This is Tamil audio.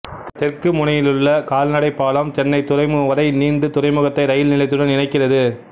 தெற்கு முனையிலுள்ள கால் நடை பாலம் சென்னை துறைமுகம் வரை நீண்டு துறைமுகத்தை ரயில் நிலையத்துடன் இணைக்கிறது